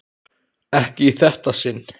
Ekki í þetta sinn.